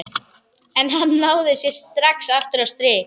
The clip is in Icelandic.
En hann náði sér strax aftur á strik.